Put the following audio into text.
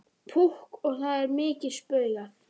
Púkk og það er mikið spaugað.